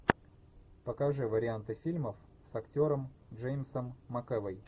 покажи варианты фильмов с актером джеймсом макэвой